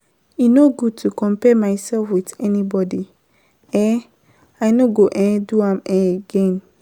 E no good to compare mysef wit anybody, um I no go um do am um again.